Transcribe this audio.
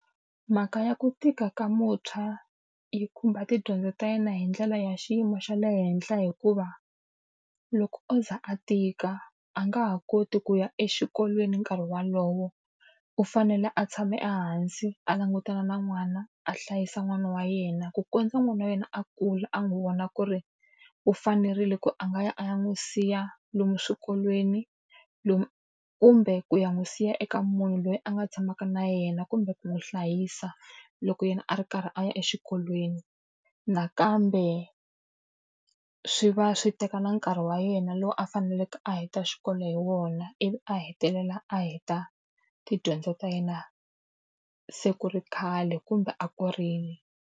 Mhaka ya ku tika ka muntshwa yi khumba tidyondzo ta yena hi ndlela ya xiyimo xa le henhla hikuva, loko o za a tika a nga ha koti ku ya exikolweni nkarhi wolowo. U fanele a tshame ehansi a langutana na n'wana, a hlayisa n'wana wa yena, ku kondza n'wana wa yena a kula a n'wi vona ku ri u fanerile ku a nga ya a ya n'wi siya lomu swikolweni, kumbe ku ya n'wi siya eka munhu loyi a nga tshamaka na yena kumbe ku n'wi hlayisa loko yena a ri karhi a ya exikolweni. Nakambe swi va swi teka nkarhi wa yena lowu a faneleke a heta xikolo hi wona, ivi a hetelela a heta tidyondzo ta yena se ku ri khale kumbe a kurile.